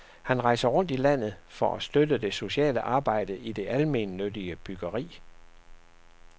Han rejser rundt i landet for at støtte det sociale arbejde i det almennyttige byggeri.